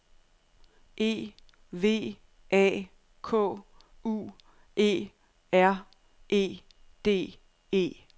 E V A K U E R E D E